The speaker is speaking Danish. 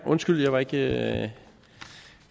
undskyld jeg var ikke